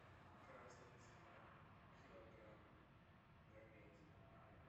красная цена килограмм говядина